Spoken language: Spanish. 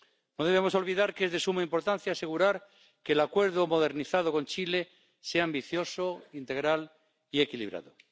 No debemos olvidar que es de suma importancia asegurar que el Acuerdo modernizado con Chile sea ambicioso, integral y equilibrado.